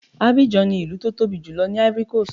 Abidjan ni ìlú tó tóbi jùlọ ní Ivory coast.